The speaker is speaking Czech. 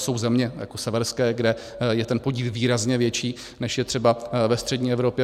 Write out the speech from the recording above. Jsou země, jako severské, kde je ten podíl výrazně větší, než je třeba ve střední Evropě.